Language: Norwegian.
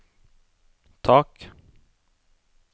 tak